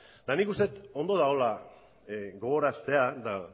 nik uste du ondo dagoela gogoraraztea eta